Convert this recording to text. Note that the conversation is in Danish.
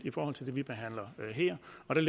er